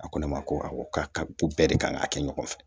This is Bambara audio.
A ko ne ma ko awɔ k'a ka ko bɛɛ de kan ka kɛ ɲɔgɔn fɛ